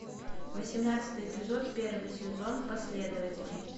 восемнадцатый эпизод первый сезон последователи